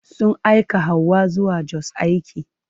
Sun aika Hauwa zuwa Jos aiki.